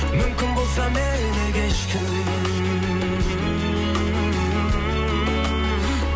мүмкін болса мені кешкін